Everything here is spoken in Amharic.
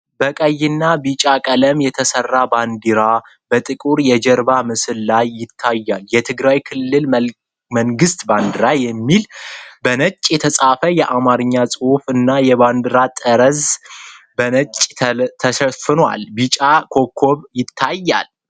በቀይና ቢጫ ቀለም የተሰራ ባንዲራ በጥቁር የጀርባ ምስል ላይ ይታያል። የትግራይ ክልላዊ መንግስት ባንዲራ የሚል በነጭ የተጻፈ የአማረኛ ጽሁፍ እና የባንድራው ጠርዝ በነጭ ተስሏል ፤ ቢጫ ኮከብ ይታያል።